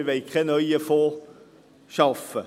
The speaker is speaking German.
Wir wollen keinen neuen Fonds schaffen.